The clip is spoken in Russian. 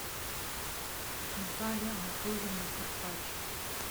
наталья анатольевна карпачева